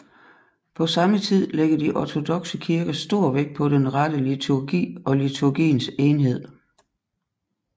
På samme tid lægger de ortodokse kirker stor vægt på den rette liturgi og liturgiens enhed